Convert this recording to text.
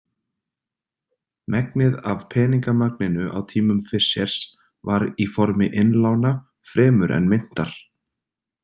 Megnið af peningamagninu á tímum Fishers var í formi innlána fremur en myntar.